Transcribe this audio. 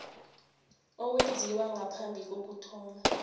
owenziwe ngaphambi kokuthoma